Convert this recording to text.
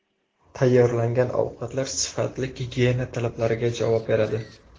Tayyorlangan ovqatlar sifatli, gigiyena talablariga javob beradi.